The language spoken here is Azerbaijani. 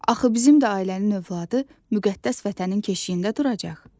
Axı bizim də ailənin övladı müqəddəs vətənin keşiyində duracaq.